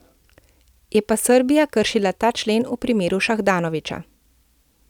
Je pa Srbija kršila ta člen v primeru Šahdanovića.